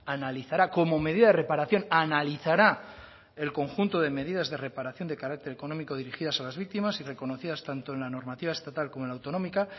analizará como medida de reparación analizará el conjunto de medidas de reparación de carácter económico dirigidas a las víctimas y reconocidas tanto en una normativa estatal como la autonómica